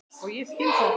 Og ég skil það.